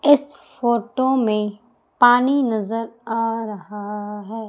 इस फोटो में पानी नजर आ रहा है।